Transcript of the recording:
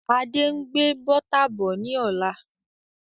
Adé ń gbé Bọ́tà bọ̀ ni ọ̀la.